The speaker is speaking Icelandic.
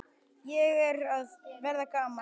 Ég er að verða gamall.